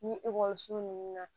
Ni ekɔliso nunnu na